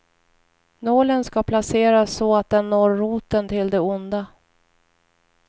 Nålen ska placeras så att den når roten till det onda.